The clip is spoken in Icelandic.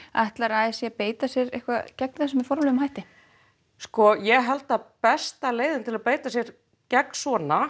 ætlar a s í að beita sér gegn þessu með einhverjum formlegum hætti ég held að besta leiðin til að beita sér gegn svona